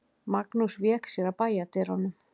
Magnús vék sér að bæjardyrunum.